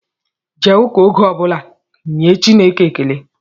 Jee ụka oge ọbụla inye Chukwu ekele!